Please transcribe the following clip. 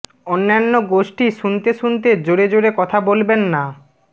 অন্যান্য গোষ্ঠী শুনতে শুনতে জোরে জোরে কথা বলবেন না